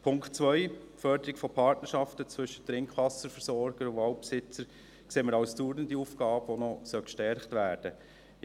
Den Punkt 2 – die Förderung von Partnerschaften von Trinkwasserversorgern und Waldbesitzern – sehen wir als dauernde Aufgabe, die noch gestärkt werden sollte.